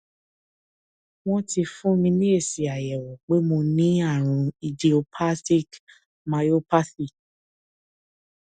wọn ti fún mi ní èsì àyẹwò pé mo ní àrùn idiopathic myopathy